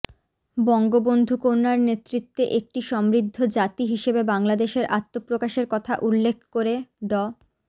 বঙ্গবন্ধুকন্যার নেতৃত্বে একটি সমৃদ্ধ জাতি হিসেবে বাংলাদেশের আত্মপ্রকাশের কথা উল্লেখ করে ড